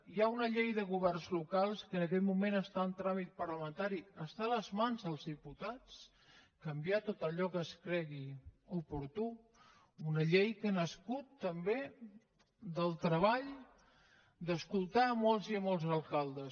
hi ha una llei de governs locals que en aquest moment està en tràmit parlamentari està a les mans dels diputats canviar tot allò que es cregui oportú una llei que ha nascut també del treball d’escoltar molts i molts alcaldes